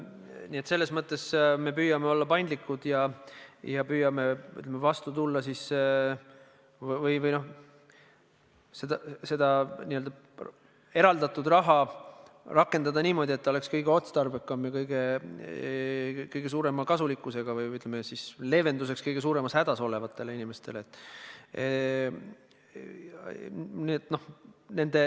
Nii et me püüame olla paindlikud ja püüame vastu tulla ja eraldatud raha rakendada niimoodi, et oleks kõige otstarbekam, tooks kõige rohkem kasu või, ütleme, leevendust kõige suuremas hädas olevatele inimestele.